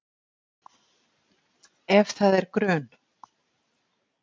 Ef það er grun